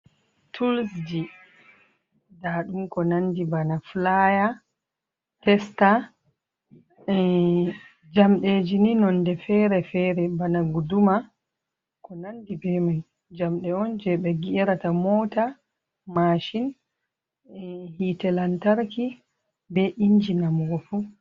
"Tools" ji, ndaaɗum ko nanndi bana "filaaya, testa" mm jamdeeji ni nonɗe fere-fere bana "guduma" ko nanndi bee may. Jamɗe on jey ɓe "geerata moota, maashin", ey hiite lantarki bee inji namugo fuu.